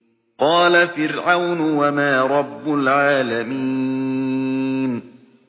قَالَ فِرْعَوْنُ وَمَا رَبُّ الْعَالَمِينَ